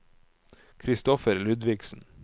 Kristoffer Ludvigsen